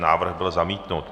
Návrh byl zamítnut.